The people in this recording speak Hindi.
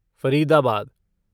फरीदाबाद